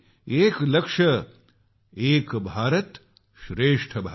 एक लक्ष्य एक भारत श्रेष्ठ भारत